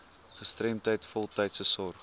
gestremdheid voltydse sorg